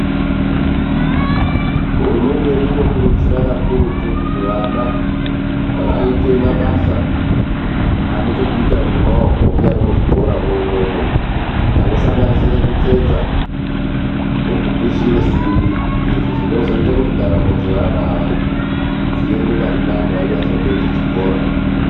Hurumende yedu inokurudzira kakurutu kuti vana vaite mabasa anechekuita nemaoko munyari muzvikora mwona imwomwo anosanganisira kutsetsa nekupishira simbi izvi zvinozoita ndaramo dzevana ava dziende pari nane vanyazopedzepedza chikora .